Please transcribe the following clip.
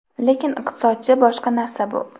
Lekin iqtisodchi boshqa narsa bu.